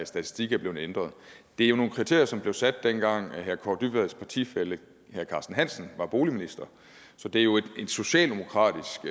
statistik er blevet ændret det er jo nogle kriterier som blev sat dengang herre kaare dybvads partifælle herre carsten hansen var boligminister så det er jo et socialdemokratisk